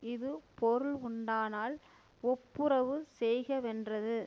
இது பொருளுண்டானால் ஒப்புரவு செய்கவென்றது